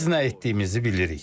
Biz nə etdiyimizi bilirik.